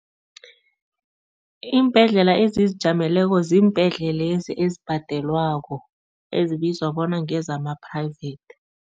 Iimbhedlela ezizijameleko ziimbhedlelezi ezibhadelwako, ezibizwa bona ngezama-private.